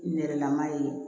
Nɛrɛlama ye